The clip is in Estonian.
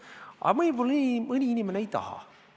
Aga võib-olla mõni inimene ei taha seda.